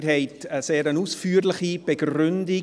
Sie haben eine sehr ausführliche Begründung.